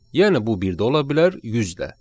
Yəni bu bir də ola bilər, 100 də.